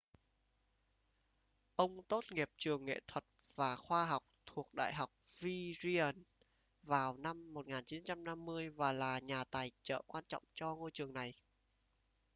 ông tốt nghiệp trường nghệ thuật và khoa học thuộc đại học virginia vào năm 1950 và là nhà tài trợ quan trọng cho ngôi trường này